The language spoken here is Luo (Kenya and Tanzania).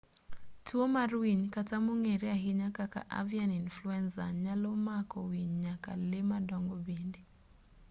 tuo mar winy kata mong'ere ahinya kaka avian influenza nyalo mako winy nyaka lee madongo bende